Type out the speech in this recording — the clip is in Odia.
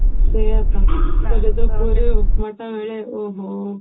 ସେଇଆ ତ ସେ ଯଉ ପୁରୀ ଉପମା ଟା ମିଳେ ଓ ହୋ